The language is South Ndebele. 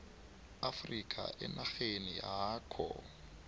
afrika enarheni yakho